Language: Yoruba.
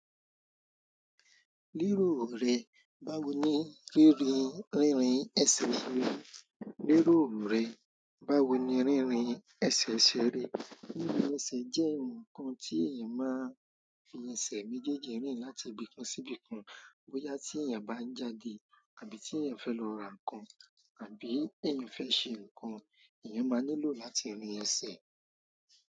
Léròò rẹ, báwo ni rírin, rínrin ẹsẹ̀ ṣe rí? Léròò rẹ, báwo ni rínrin ẹsẹ̀ ṣe rí? Rinrin ese je nkan ti eeyan maa n fi ese mejeji rin láti ibìkan sibi kan bóyá tí èèyàn bá ń jáde àbí tí èèyàn fẹ́ lọ ra ǹkan àbí èèyàn fẹ́ ṣe ǹkan, èèyàn máa nílò láti rin ẹsẹ̀.